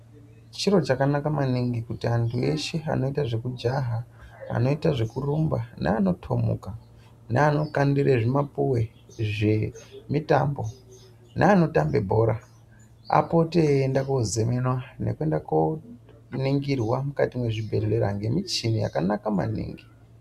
Chiro chakanaka maningi kuti antu eshe ano ita zveku jaha anoita zveku rumba ne ano tomuka ne ano kandire zvi mapuwe zve mitambo ne ano tambe bhora apote eyi enda ko zemenwa neku enda ko ningirwa mukati mwe zvibhedhleya nge muchini yakanaka maningi.